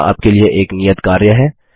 यहाँ आपके लिए एक नियत कार्य है